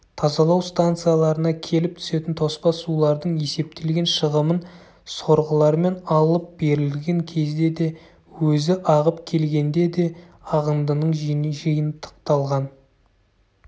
тазалау станцияларына келіп түсетін тоспа сулардың есептелген шығымын сорғылармен алып берілген кезде де өзі ағып келгенде де ағындының жиынтықталған